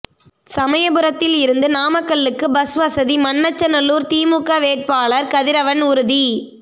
சமயபுரத்தில் இருந்து நாமக்கல்லுக்கு பஸ் வசதி மண்ணச்சநல்லூர் திமுக வேட்பாளர் கதிரவன் உறுதி